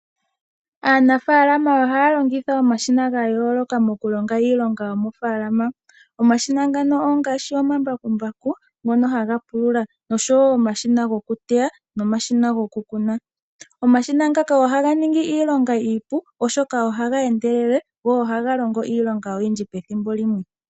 Aanafaalama ohaya longitha omashina gayooloka muku longa iilonga yomofaalama. Omashina ngano ongaashi omambakumbaku ngono haga pulula osho wo omashina gokuteya nomashina goku kuna. Omashina ngaka ohaga ningi iilonga iipu oshoka ohaga endelele, go ohaga longo iilonga oyindji pethimbo limwe.